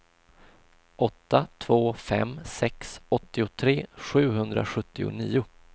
åtta två fem sex åttiotre sjuhundrasjuttionio